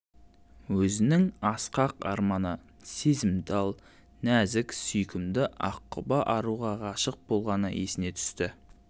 өзінің асқақ арманы сезімтал нәзік сүйкімді аққұба аруға ғашық болғаны есіне түсті